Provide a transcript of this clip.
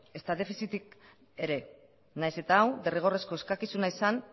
ezta defizitik ere nahiz eta hau derrigorrezko eskakizuna izan